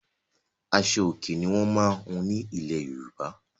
Aṣo-Òkè ni wọ́n máa ń hun ní ilẹ̀ Yorùbá.